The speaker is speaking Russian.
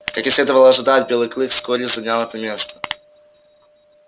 как и следовало ожидать белый клык вскоре занял это место